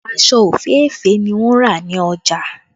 Aṣọ òféèfé ni wọn rà ní ọjà